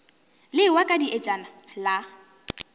le ewa ka dietšana la